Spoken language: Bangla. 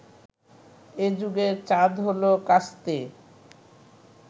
এ যুগের চাঁদ হলো কাস্তে